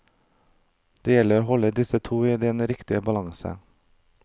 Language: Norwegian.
Det gjelder å holde disse to i den riktige balanse.